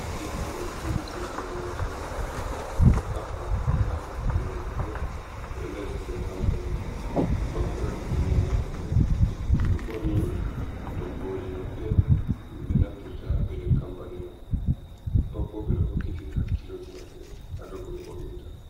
Ɗeɓɓo oɗo turi boitina mashin. Oɗo haɓɓa nɗa lutuɓe worɓe ɓo ɓeɗo ɗari ha nɗer kampani. Ɓe pat ɓeɗo waɗi kubneje mabbe, ɓeɗo borni toggoje maɓɓe ɗum ɓe naftirta ha pelel kampani man. Ɓe patbo ɓeɗo hokkitiri hakkiloji maɓɓe ha ɗow ko be wo’inta.